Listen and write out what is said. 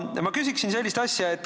Aga ma küsin sellist asja.